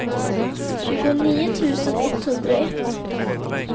tjugonio tusen etthundraett